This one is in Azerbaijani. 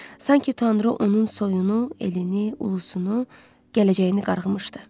Sanki Tanrı onun soyunu, elini, Ulusunu, gələcəyini qarğımışdı.